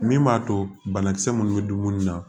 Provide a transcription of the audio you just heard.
Min b'a to banakisɛ minnu bɛ dumuni na